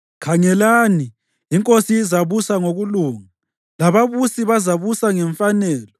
Khangelani, inkosi izabusa ngokulunga lababusi bazabusa ngemfanelo.